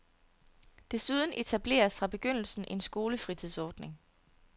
Desuden etableres fra begyndelsen en skolefritidsordning.